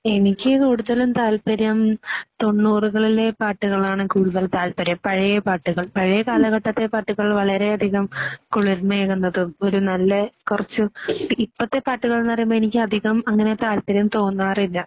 എനിക്ക് കൂടുതലും താല്പര്യം തൊണ്ണൂറുകളിലെ പാട്ടുകളാണ് കൂടുതൽ താല്പര്യം പഴയ പാട്ടുകൾ. പഴയ കാലഘട്ടത്തെ പാട്ടുകൾ വളരെ അധികം കുളിര്മയേകുന്നതും ഒരു നല്ല കുറച്ചു ഇപ്പോഴത്തെ പാട്ടുകൾ എന്ന് പറയുമ്പോൾ എനിക്ക് അധികം അങ്ങനെ താല്പര്യം തോന്നാറില്ല.